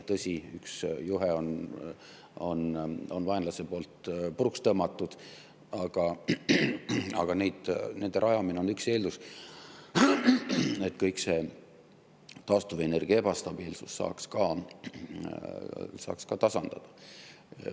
Tõsi, üks juhe on vaenlase poolt puruks tõmmatud, aga nende rajamine on üks eeldus, et taastuvenergia ebastabiilsuse saaks ka tasandada.